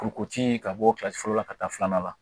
Kurukoji ka bɔ kilasi fɔlɔ la ka taa filanan la